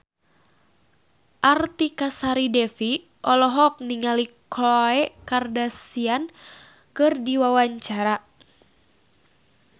Artika Sari Devi olohok ningali Khloe Kardashian keur diwawancara